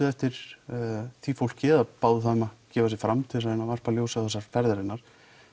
eftir því fólki eða báðu þau um að gefa sig fram til þess að reyna að varpa ljósi á þessar ferðir hennar